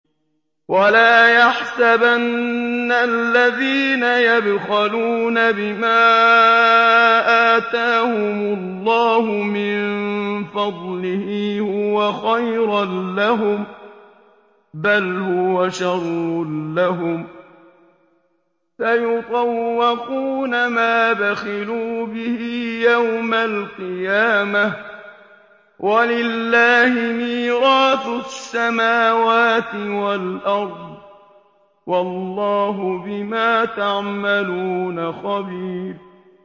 وَلَا يَحْسَبَنَّ الَّذِينَ يَبْخَلُونَ بِمَا آتَاهُمُ اللَّهُ مِن فَضْلِهِ هُوَ خَيْرًا لَّهُم ۖ بَلْ هُوَ شَرٌّ لَّهُمْ ۖ سَيُطَوَّقُونَ مَا بَخِلُوا بِهِ يَوْمَ الْقِيَامَةِ ۗ وَلِلَّهِ مِيرَاثُ السَّمَاوَاتِ وَالْأَرْضِ ۗ وَاللَّهُ بِمَا تَعْمَلُونَ خَبِيرٌ